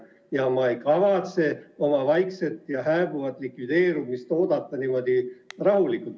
Ja ma ei kavatse oma vaikset ja hääbuvat likvideerimist oodata niimoodi rahulikult.